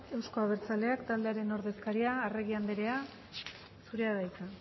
euzko abertzaleak taldearen ordezkaria arregi andrea zurea da hitza